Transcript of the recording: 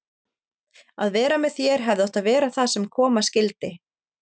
Að vera með þér hefði átt að vera það sem koma skyldi.